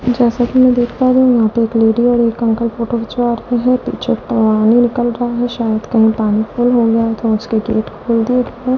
जैसा कि मैं देख पा रहे हो यहां पे एक लेडी और एक अंकल फोटो खिंचवा रहे हैं पीछे पानी निकल रहा है शायद कहीं पानी फुल हो गया तो उसके गेट जल्दी --